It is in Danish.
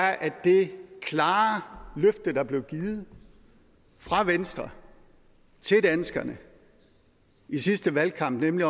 er at det klare løfte der blev givet fra venstre til danskerne i sidste valgkamp nemlig